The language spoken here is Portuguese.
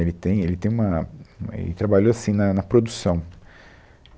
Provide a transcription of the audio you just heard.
Ele tem, ele tem uma, uma ele trabalhou assim na na produção.